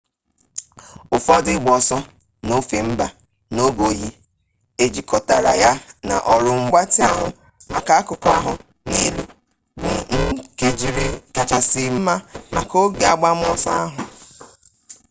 ụfọdụ ịgba ọsọ n'ofe mba n'oge oyi ejikọtara ya na ọrụ mgbatị ahụ maka akụkụ ahụ nke elu bụ njikere kachasị mma maka oge agbamọsọ ahụ